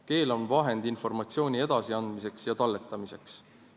Keel on vahend informatsiooni edasiandmiseks ja talletamiseks.